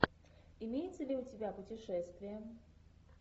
имеется ли у тебя путешествия